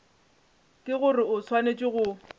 ke gore o swanetše go